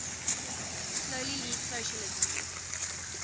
slowly leads socialism